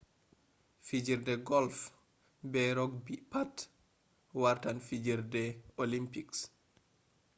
fijerde golf be rogbi pat wartan fijerde olimpiks